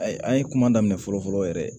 Ayi an ye kuma daminɛ fɔlɔ fɔlɔ yɛrɛ